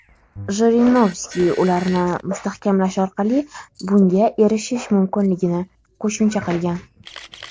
Jirinovskiy ularni mustahkamlash orqali bunga erishish mumkinligini qo‘shimcha qilgan.